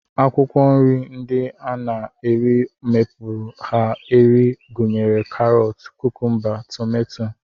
Akwụkwọ nri ndị a na-eri mkpụrụ ha eri gụnyere karọt, kukumba, tomato